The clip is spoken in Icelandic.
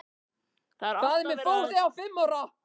Það er alltaf verið að skipta um plötur á fóninum.